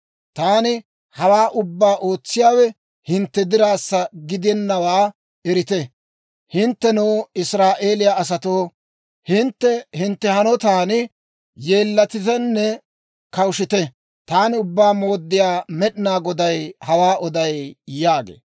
Taani hawaa ubbaa ootsiyaawe hintte diraassa gidennawaa erite. Hinttenoo, Israa'eeliyaa asatoo, hintte hintte hanotan yeellatitenne kawushshite. Taani Ubbaa Mooddiyaa Med'inaa Goday hawaa oday» yaagee.